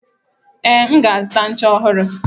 Ee, m ga azuta ncha ọhụrụ.